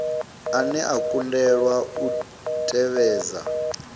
ane a kundelwa u tevhedza